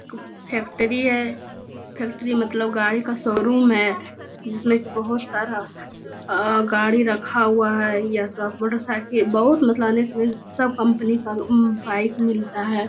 Factory है factory मतलब गाड़ी का शोरूम है जिसमे बहुत सारा अ-गाड़ी रखा हुआ है या तो मोटर साइकिल बहुत सब कंपनी का बाइक मिलता है ।